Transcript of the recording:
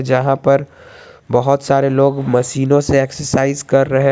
यहां पर बहुत सारे लोग मसीनों से एक्सरसाइज कर रहे।